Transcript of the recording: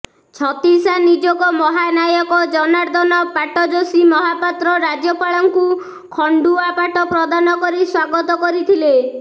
ଛତିଶା ନିଯୋଗ ମହାନାୟକ ଜନାର୍ଦ୍ଦନ ପାଟ୍ଟଯୋଶୀ ମହାପାତ୍ର ରାଜ୍ୟପାଳଙ୍କୁ ଖଣ୍ଡୁଆ ପାଟ ପ୍ରଦାନ କରି ସ୍ୱାଗତ କରିଥିଲେ